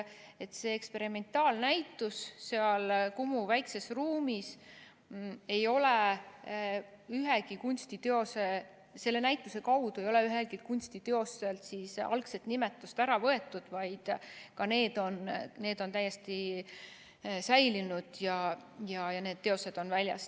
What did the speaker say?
Selle eksperimentaalnäituse tõttu seal Kumu väikses ruumis ei ole üheltki kunstiteoselt algset nimetust ära võetud, vaid ka need on täiesti säilinud ja need teosed on väljas.